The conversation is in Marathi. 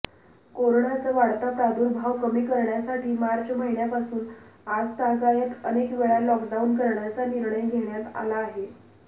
कोरोनाचा वाढता प्रादुर्भाव कमी करण्यासाठी मार्च महिन्यापासून आजतागायत अनेकवेळा लॉकडाऊन करण्याचा निर्णय घेण्यात आला आहे